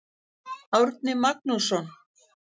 Árni Magnússon.